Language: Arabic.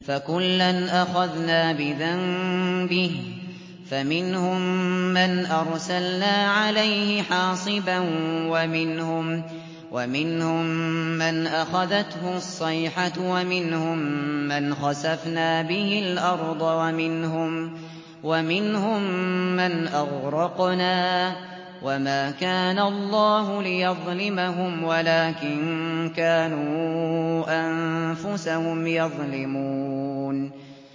فَكُلًّا أَخَذْنَا بِذَنبِهِ ۖ فَمِنْهُم مَّنْ أَرْسَلْنَا عَلَيْهِ حَاصِبًا وَمِنْهُم مَّنْ أَخَذَتْهُ الصَّيْحَةُ وَمِنْهُم مَّنْ خَسَفْنَا بِهِ الْأَرْضَ وَمِنْهُم مَّنْ أَغْرَقْنَا ۚ وَمَا كَانَ اللَّهُ لِيَظْلِمَهُمْ وَلَٰكِن كَانُوا أَنفُسَهُمْ يَظْلِمُونَ